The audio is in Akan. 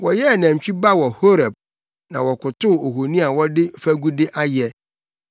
Wɔyɛɛ nantwi ba wɔ Horeb na wɔkotow ohoni a wɔde fagude ayɛ.